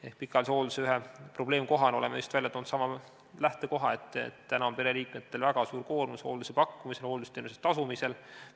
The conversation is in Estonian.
Ehk pikaajalise hoolduse ühe probleemkohana oleme toonud esile just sellesama lähtekoha, et pereliikmetel on väga suur koormus hooldusteenuse tasumisel.